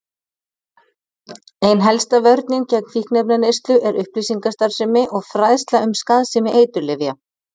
Ein helsta vörnin gegn fíkniefnaneyslu er upplýsingastarfsemi og fræðsla um skaðsemi eiturlyfja.